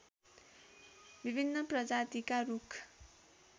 विभिन्न प्रजातिका रूख